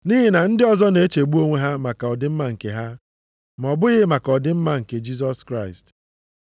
Nʼihi na ndị ọzọ na-echegbu onwe ha maka ọdịmma nke ha, ma ọ bụghị maka ọdịmma Jisọs Kraịst.